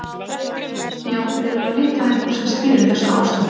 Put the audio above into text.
Já, við erum að leita að einhverju sem stýrir þessu ástandi.